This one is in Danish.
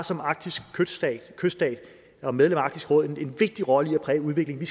som arktisk kyststat og medlem af arktisk råd har en vigtig rolle i at præge udviklingen